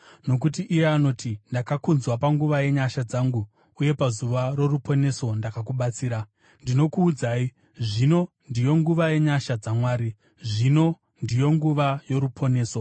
Nokuti iye anoti, “Ndakakunzwa panguva yenyasha dzangu, uye pazuva roruponeso ndakakubatsira.” Ndinokuudzai, zvino ndiyo nguva yenyasha dzaMwari, zvino ndiyo nguva yoruponeso.